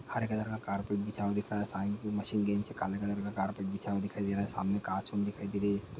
हरे colour का carpet बिछा हुआ दिख रहा हैं साइड में मशीन के नीचे काले कलर का कारपेट बिछा हुआ दिखाई दे रहा हैं सामने कांच हमे दिखाई दे रही हैं इसमें--